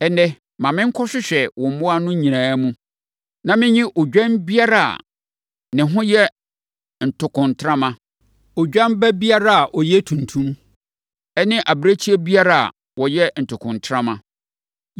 Ɛnnɛ, ma menkɔhwehwɛ wo mmoa no nyinaa mu, na mennyi odwan biara a ne ho yɛ ntokontrama, odwan ba biara a ɔyɛ tuntum ne abirekyie biara a ɔyɛ ntokontrama. Yeinom na ɛbɛyɛ mʼakatua.